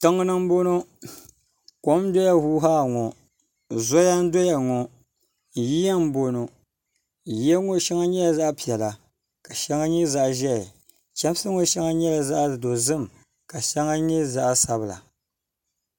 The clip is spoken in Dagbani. tiŋ ni n bɔŋɔ kom n doya huuhaa ŋɔ zoya n doya ŋɔ yiya n bɔŋɔ yoya ŋɔ shɛŋa nyɛla zaɣ piɛla ka shɛŋa nyɛ zaɣ ʒiɛhi chɛmsi ŋɔ shɛŋa nyɛla zaɣ dozim ka shɛŋa nyɛ zaɣ sabila